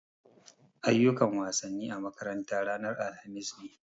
Ayyukan wasanni a makaranta ranan alhamis ne.